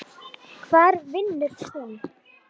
Hvar vinnur hún?